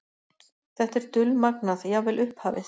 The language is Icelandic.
Þetta er dulmagnað, jafnvel upphafið.